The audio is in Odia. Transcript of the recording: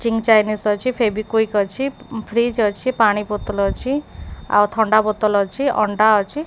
ଚିଙ୍ଗ୍ ଚାଇନେସ୍ ଅଛି। ଫେବିକ୍ୱିକ୍ ଅଛି ଫ୍ରିଜ୍ ଅଛି। ପାଣି ବୋତଲ ଅଛି। ଆଉ ଥଣ୍ଡା ବୋତଲ ଅଛି। ଅଣ୍ଡା ଅଛି।